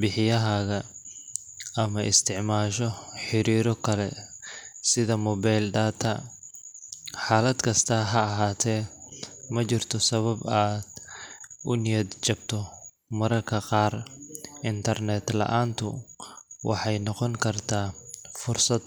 bixiyahaaga, ama isticmaasho xiriirro kale sida mobile data. Xaalad kasta ha ahaatee, ma jirto sabab aad u niyad jabto mararka qaar internet la’aantu waxay noqon kartaa fursad .